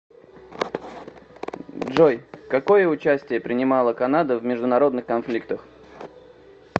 джой какое участие принимала канада в международных конфликтах